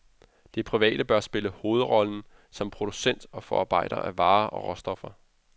Det private bør spille hovedrollen som producent og forarbejder af varer og råstoffer.